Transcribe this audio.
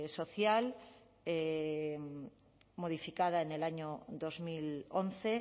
social modificada en el año dos mil once